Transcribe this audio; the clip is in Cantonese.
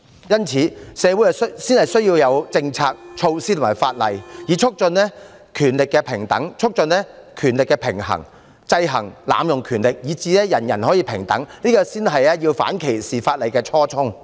因此，社會才需要有政策、措施和法例，以促進權力的平等、促進權力的平衡，制衡濫用權力，以達致人人平等，這才是反歧視條例的初衷。